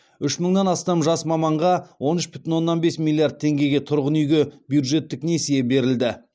үш мыңнан астам жас маманға он үш бүтін оннан бес миллиард теңгеге тұрғын үйге бюджеттік несие берілді